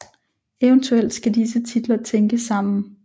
Eventuelt skal disse titler tænkes sammen